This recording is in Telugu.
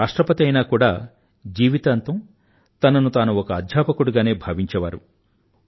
వారు రాష్ట్రపతి అయినా కూడా జీవితాంతం తనను తాను ఒక అధ్యాపకుడిగానే భావించేవారు